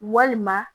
Walima